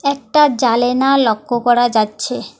একটা জালেনা লক্ষ্য করা যাচ্ছে।